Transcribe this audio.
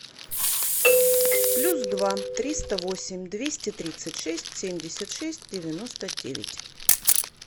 плюс два триста восемь двести тридцать шесть семьдесят шесть девяносто девять